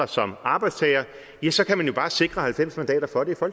som arbejdstagere ja så kan man jo bare sikre halvfems mandater for det